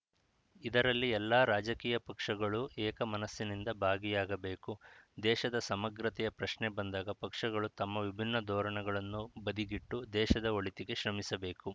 ಇದರಲ್ಲಿ ಎಲ್ಲ ರಾಜಕೀಯ ಪಕ್ಷಗಳೂ ಏಕಮನಸ್ಸಿನಿಂದ ಭಾಗಿಯಾಗಬೇಕು ದೇಶದ ಸಮಗ್ರತೆಯ ಪ್ರಶ್ನೆ ಬಂದಾಗ ಪಕ್ಷಗಳು ತಮ್ಮ ವಿಭಿನ್ನ ಧೋರಣೆಗಳನ್ನು ಬದಿಗಿಟ್ಟು ದೇಶದ ಒಳಿತಿಗೆ ಶ್ರಮಿಸಬೇಕು